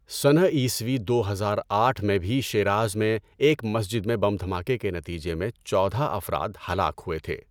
سنہ عیسوی دو ہزار آٹھ میں بھی شیراز میں ایک مسجد میں بم دھماکے کے نتیجے میں چودہ افراد ہلاک ہوئے تھے۔